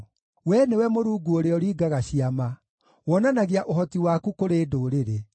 Wee nĩwe Mũrungu ũrĩa ũringaga ciama; wonanagia ũhoti waku kũrĩ ndũrĩrĩ.